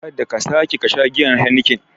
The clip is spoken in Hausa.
Kada ka sake kasha giyar Heniken!